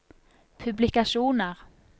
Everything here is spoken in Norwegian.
publikasjoner